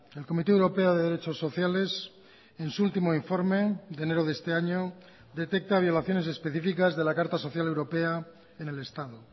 el comité europeo de derechos sociales en su último informe de enero de este año detecta violaciones específicas de la carta social europea en el estado